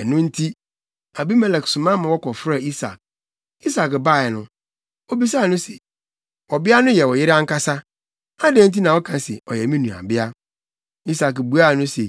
Ɛno nti, Abimelek soma ma wɔkɔfrɛɛ Isak. Isak bae no, obisaa no se, “Ɔbea no yɛ wo yere ankasa. Adɛn nti na woka se, ‘Ɔyɛ me nuabea?’ ” Isak buaa no se,